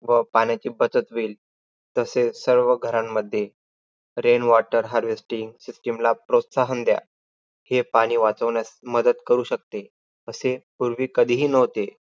व पाण्याची बचत होईल. तसेच सर्व घरांमध्ये rain water harwasting system ला प्रोत्साहन दया. हे पाणी वाचवण्यास मदत करू शकते, असे पूर्वी कधीही नव्हते.